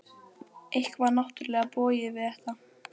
Eitthvað var náttúrlega bogið við þetta.